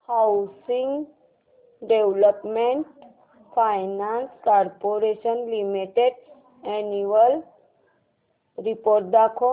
housing development finance corporation limited annual report दाखव